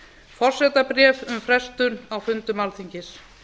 forsetabréf um frestun á fundum alþingis